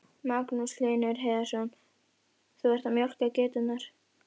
Magnús Hlynur Hreiðarsson: Þú ert að mjólka geiturnar?